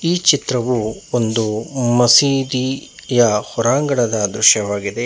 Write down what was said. ಈ ಚಿತ್ರವು ಮಸೀದಿಯ ಹೊರಾಂಗಣ ದೃಶ್ಯವಾಗಿದೆ.